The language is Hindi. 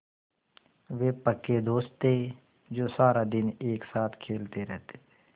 वे पक्के दोस्त थे जो सारा दिन एक साथ खेलते रहते थे